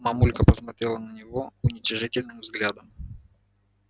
мамулька посмотрела на него уничижительным взглядом